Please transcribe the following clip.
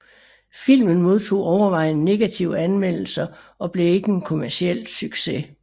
Filmen modtog overvejende negative anmeldelser og blev ikke en kommerciel succes